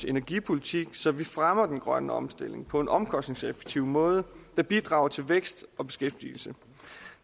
energipolitikken så man fremmer den grønne omstilling på en omkostningseffektiv måde der bidrager til vækst og beskæftigelse